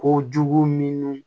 Kojugu minnu